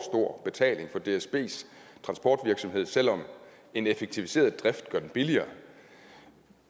overbetaling for dsbs transportvirksomhed selv om en effektiviseret drift gør den billigere